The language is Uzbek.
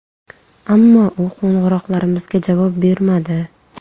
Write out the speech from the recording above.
Ammo u qo‘ng‘iroqlarimizga javob bermadi.